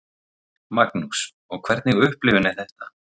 Magnús: Og hvernig upplifun er þetta?